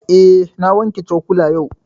Eh, na wanke cokula yau